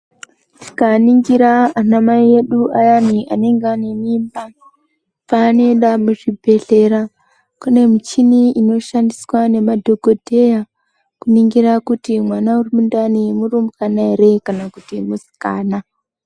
Tikaningira anamai edu ayani anenge ane mimba, paanoenda muzvibhedhlera, kune michini inoshandiswa nemadhokodheya kuningira kuti mwana uri mundani murumbwana ere kana kuti musikana.